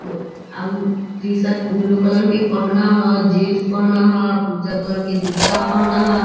मो अउ T-shirt blue colour क पहनो ह जींस पहनो ह उजर कलर के जूता पहनो ह।